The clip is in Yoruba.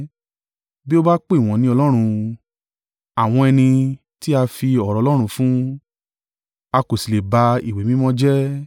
Bí ó bá pè wọ́n ní ‘ọlọ́run,’ àwọn ẹni tí a fi ọ̀rọ̀ Ọlọ́run fún, a kò sì lè ba ìwé mímọ́ jẹ́.